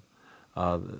að